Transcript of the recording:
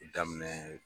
Daminɛ